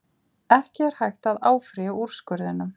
Ekki er hægt að áfrýja úrskurðinum